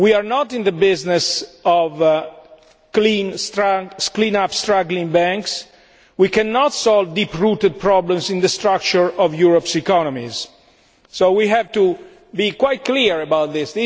We are not in the business of cleaning up struggling banks we cannot solve deep rooted problems in the structure of Europe's economies, and we have to be quite clear about this.